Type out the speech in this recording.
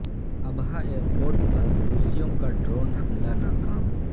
Abha airport پر حوثیوں کا ڈرون حملہ ناکام